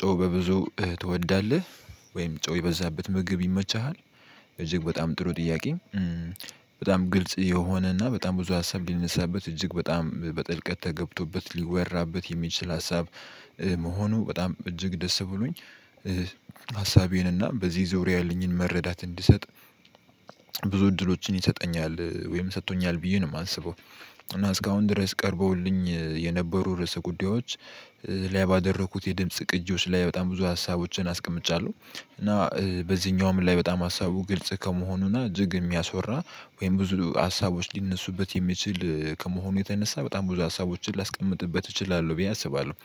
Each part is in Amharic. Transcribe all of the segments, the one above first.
ጮው በብዙ ትወዳለህ ወይም ጮው የበዛበት ምግብ ይመችሃል? እጅግ በጣም ጥሩ ጥያቄ በጣም ግልጽ የሆነና በጣም ብዙ ሀሳብ ሊነሳበት እጅግ በጣም በጥልቀት ተገብቶበት ሊወራበት የሚችል ሀሳብ መሆኑ በጣም እጅግ ደስ ብሎኝ ሀሳቤን እና በዚህ ዙርያ ያለኝን መረዳት እንድሰጥ ብዙ እድሎችን ይሰጠኛል ወይም ሰጥቶኛል ብዬ ነው የማንስበው። እና እስካሁን ድረስ ቀርበውልኝ የነበሩ ርዕሰ ጉዳዮች ላይ ባደረኩት የድምጽ ቅጂዎች ላይ በጣም ብዙ ሀሳቦችን አስቀምጫለሁ እና በዚህኛውም ላይ በጣም ሀሳቡ ግልጽ ከመሆኑና እጅግ የሚያስወራ ወይም ብዙ ሀሳቦች ሊነሱበት የሚችል ከመሆኑ የተነሳ በጣም ብዙ ሀሳቦችን ላስቀምጥበት እችላለሁ ብዬ አስባለሁ።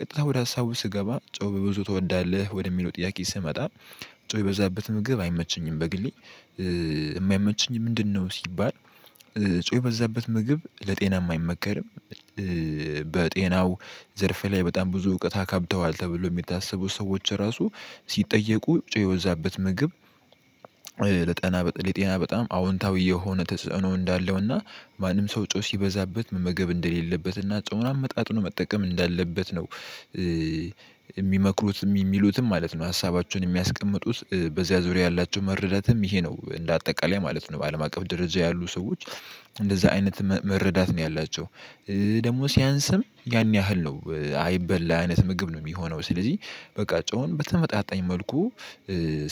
ቀጥታ ወደ ሀሳቡ ስገባ ጨው በብዙ ትወዳለህ ወደሚለው ጥያቄ ስመጣ። ጨው የበዛበት ምግብ አይመቸኝም። በግሌ የማይመቸኝ ምንድነው? ሲባል ጨው የበዛበት ምግብ ለጤናም አይመከርም። በጤናው ዘርፍ ላይ በጣም ብዙ እውቀት አካብተዋል ተብሎ የሚታሰቡ ሰዎች ራሱ ሲጠየቁ ጨው የበዛበት ምግብ ለጤና በጣም አዎንታዊ የሆነ ተጽዕኖ እንዳለውና ማንም ሰው ጨው ሲበዛበት መመገብ እንደሌለበትና ጨውን አመጣጥኖ መጠቀም እንዳለበት ነው። የሚመክሩት የሚሉትም ማለት ነው ሀሳባቸውን የሚያስቀምጡት በዚያ ዙሪያ ያላቸው መረዳትም ይሄ ነው እንደ አጠቃላይ ማለት ነው። በአለም አቀፍ ደረጃ ያሉ ሰዎች እንደዛ አይነት መረዳት ነው ያላቸው። ደግሞ ሲያንስም ያን ያህል ነው አይበላ አይነት ምግብ ነው የሚሆነው። ስለዚህ በቃ ጨውን በተመጣጣኝ መልኩ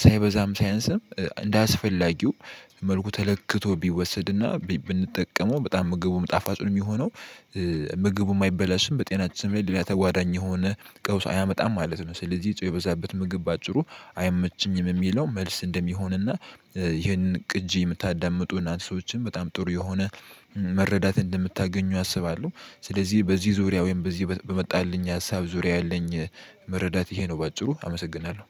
ሳይበዛም ሳይንስም እንደአስፈላጊው መልኩ ተለክቶ ቢወሰድና ብንጠቀመው በጣም ምግቡም ጣፋጭ ነው የሚሆነው። ምግቡም አይበላሽም በጤናችን ላይ ሌላ ተጓዳኝ የሆነ ቀውስ አያመጣም ማለት ነው። ስለዚህ ጨው የበዛበት ምግብ በአጭሩ አይመችኝም የሚለው መልስ እንደሚሆንና ይሄንን ቅጂ የምታዳምጡና ሰዎችም በጣም ጥሩ የሆነ መረዳት እንደምታገኙ አስባለሁ። ስለዚህ በዚህ ዙሪያ ወይም በዚህ በመጣልኝ ሀሳብ ዙሪያ ያለኝ መረዳት ይሄ ነው በአጭሩ አመሰግናለሁ